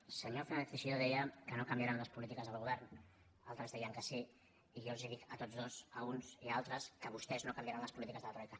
el senyor fernández teixidó deia que no canviaran les polítiques del govern altres deien que sí i jo els dic a tots dos a uns i a altres que vostès no canviaran les polítiques de la troica